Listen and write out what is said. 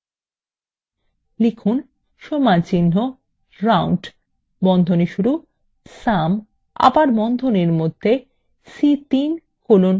লিখুন সমানচিহ্ন round বন্ধনী শুরু sum এবং আবার বন্ধনীর মধ্যে c3 colon c7